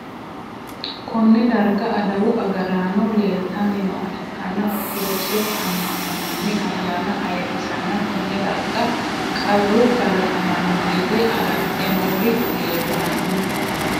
Konne daraga adawu agaraano leelitanni nooha ikanna ortodokisete ama'no manni ayaanna ayirisanna Konne darga qaru kalaqamano yite agarte noori leltano.